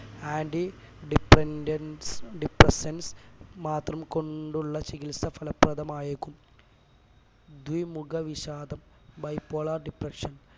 anti dependence depressants മാത്രം കൊണ്ടുള്ള ചികിത്സ ഫലപ്രദമായെക്കും ദ്വിമുഖവിഷാദം bipolar depression